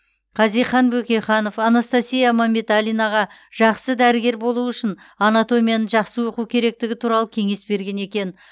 хазихан бөкейханов анастасия мәмбеталинаға жақсы дәрігер болу үшін анатомияны жақсы оқу керектігі туралы кеңес берген екен